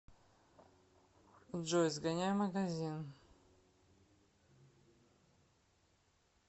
джой сгоняй в магазин